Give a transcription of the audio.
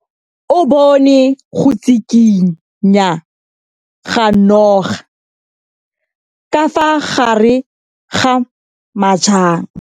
O bone go tshikinya ga noga ka fa gare ga majang.